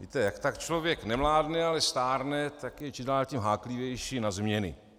Víte, jak tak člověk nemládne, ale stárne, tak je čím dál tím háklivější na změny.